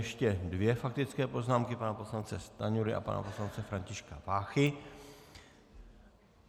Ještě dvě faktické poznámky, pana poslance Stanjury a pana poslance Františka Váchy.